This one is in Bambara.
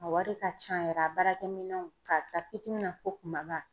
A wari ka ca yɛrɛ a baarakɛminɛnw k'a ta pitinin na fo kumaba